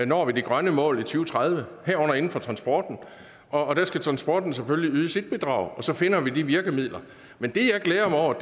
når de grønne mål i to tredive herunder inden for transporten og der skal transporten selvfølgelig yde sit bidrag og så finder vi de virkemidler men det jeg glæder mig over